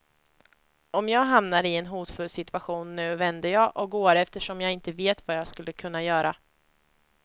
Om jag hamnar i en hotfull situation nu vänder jag och går, eftersom jag inte vet vad jag skulle kunna göra.